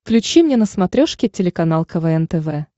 включи мне на смотрешке телеканал квн тв